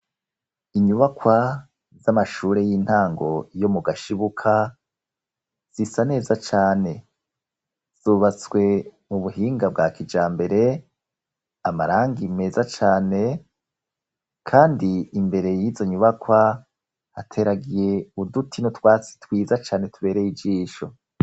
Inyubakwa z'amashure y'intango yo mu Gashibuka zisa neza cane. Zubatswe mu buhinga bwa kijambere, amarangi meza cane, kandi imbere y'izo nyubakwa hateragiye uduti n'utwasi twiza cane tubereye ijisho.